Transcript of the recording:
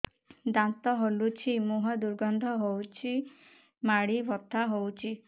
ଦାନ୍ତ ହଲୁଛି ମୁହଁ ଦୁର୍ଗନ୍ଧ ହଉଚି ମାଢି ବଥା ହଉଚି